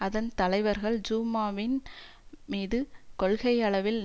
அதன் தலைவர்கள் ஜூமாவின் மீது கொள்கையளவில்